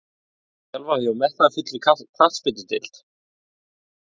Viltu þjálfa hjá metnaðarfullri knattspyrnudeild?